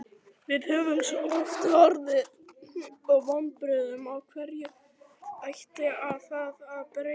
Við höfum svo oft orðið fyrir vonbrigðum, af hverju ætti það að breytast?